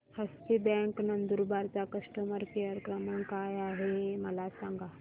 हस्ती bank Nandurbar चा customer care क्रमांक काय आहे हे मला सांगा